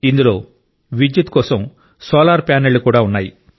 ఇందులో విద్యుత్ కోసం సోలార్ ప్యానెళ్లు కూడా ఉన్నాయి